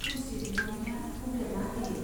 खनस्री बिमानैया बुंदेरना होयो।